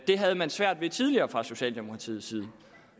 det havde man svært ved tidligere fra socialdemokratiets side